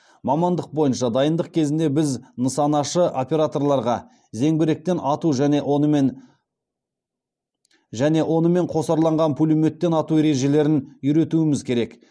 мамандық бойынша дайындық кезінде біз нысанашы операторларға зеңбіректен ату және онымен қосарланған пулеметтен ату ережелерін үйретуіміз керек